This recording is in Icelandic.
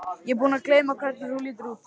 Ég er búin að gleyma hvernig þú lítur út.